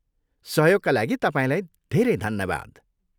सहयोगका लागि तपाईँलाई धेरै धन्यवाद।